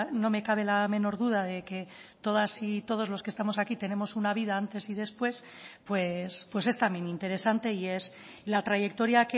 no me cabe la menor duda de que todas y todos los que estamos aquí tenemos una vida antes y después pues es también interesante y es la trayectoria